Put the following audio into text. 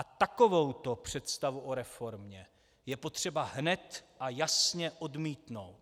A takovouto představu o reformě je potřeba hned a jasně odmítnout.